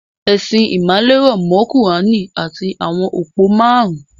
Ẹ̀sìn ìmàle rọ̀ mọ́ kùráánì àti àwọn òpó márùn-ún